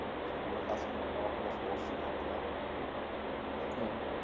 সেই গুলো কাজ করতে আমার কোনো সমস্যা হবে না হ্যাঁ